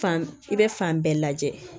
Fan i bɛ fan bɛɛ lajɛ